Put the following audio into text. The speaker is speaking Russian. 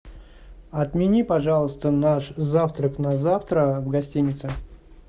отмени пожалуйста наш завтрак на завтра в гостинице